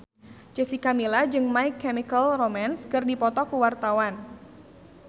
Jessica Milla jeung My Chemical Romance keur dipoto ku wartawan